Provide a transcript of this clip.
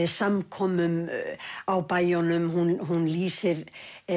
samkomum á bæjunum hún lýsir